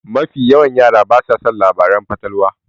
Mafi yawan yara basa son labaran fatalwa.